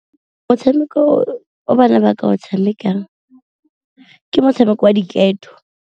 Motshameko o bana ba ka go tshamekang ke motshameko wa diketo.